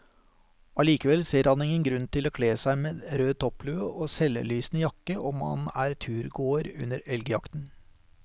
Allikevel ser han ingen grunn til å kle seg med rød topplue og selvlysende jakke om man er turgåer under elgjakten.